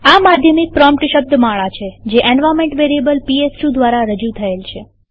આ માધ્યમિક પ્રોમ્પ્ટ શબ્દમાળા છે જે એન્વાર્નમેન્ટ વેરીએબલ પીએસ2 દ્વારા રજુ થયેલ છે